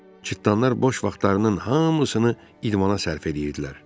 Cırtdanlar boş vaxtlarının hamısını idmana sərf eləyirdilər.